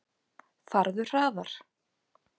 Farðu hraðar.